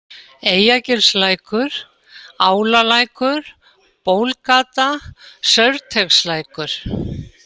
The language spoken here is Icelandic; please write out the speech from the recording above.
Eyjagilslækur, Álalækur, Bólgata, Saurteigslækur